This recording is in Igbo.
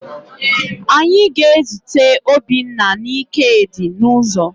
Anyị ga-ezute Obinna na Ikedi n'ụzọ